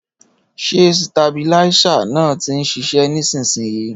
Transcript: Ṣé sitabiláísà náà ti ń ṣiṣẹ́ nísinsìnyí?